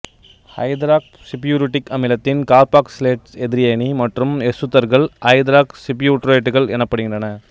ஐதராக்சிபியூட்ரிக் அமிலத்தின் கார்பாக்சிலேட்டு எதிரயனி மற்றும் எசுத்தர்கள் ஐதராக்சிபியூட்ரேட்டுகள் எனப்படுகின்றன